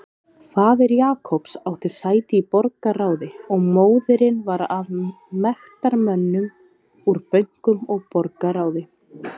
Faðir Jacobs átti sæti í borgarráði og móðirin var af mektarmönnum úr bönkum og borgarráði.